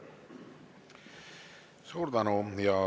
Suur tänu!